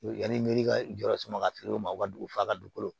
Yanni miri ka jɔ yɔrɔ sɔngɔ ka feere o ma u ka dugu f'a ka dugukolo